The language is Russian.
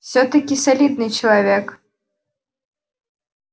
всё-таки солидный человек